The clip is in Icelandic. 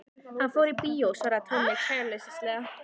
Hann fór í bíó svaraði Tommi kæruleysislega.